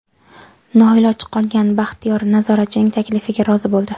Noiloj qolgan Baxtiyor nazoratchining taklifiga rozi bo‘ldi.